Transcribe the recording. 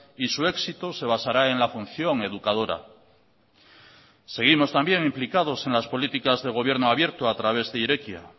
y su éxito se basará en la función educadora seguimos también implicados en las políticas de gobierno abierto a través de irekia